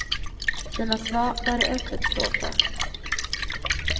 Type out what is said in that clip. Sina svar bör de öppet stå för.